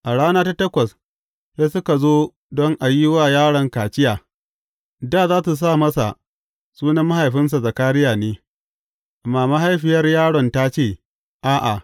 A rana ta takwas, sai suka zo don a yi wa yaron kaciya, dā za su sa masa sunan mahaifinsa Zakariya ne, amma mahaifiyar yaron ta ce, A’a!